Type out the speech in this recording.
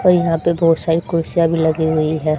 अ यहां पे बहोत सारी कुर्सियां भी लगी हुई है।